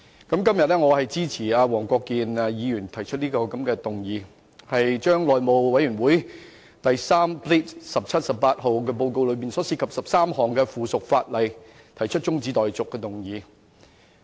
我今天支持黃國健議員提出議案，就內務委員會第 3/17-18 號報告內的13項附屬法例中止待續。